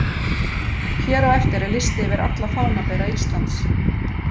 Hér á eftir er listi yfir alla fánabera Íslands: